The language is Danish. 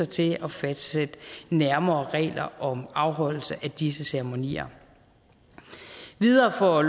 til at fastsætte nærmere regler om afholdelse af disse ceremonier videre har